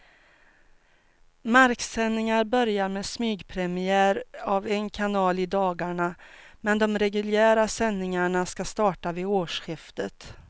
Marksändningar börjar med smygpremiär av en kanal i dagarna, men de reguljära sändningarna ska starta vid årsskiftet.